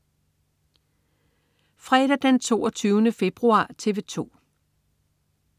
Fredag den 22. februar - TV 2: